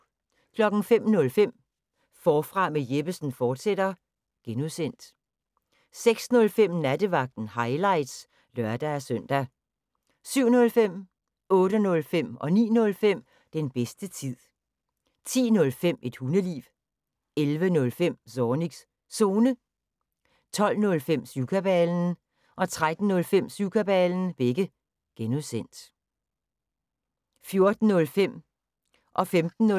05:05: Forfra med Jeppesen fortsat (G) 06:05: Nattevagten – highlights (lør-søn) 07:05: Den bedste tid 08:05: Den bedste tid 09:05: Den bedste tid 10:05: Et hundeliv 11:05: Zornigs Zone 12:05: Syvkabalen (G) 13:05: Syvkabalen (G) 14:05: Bæltestedet – highlights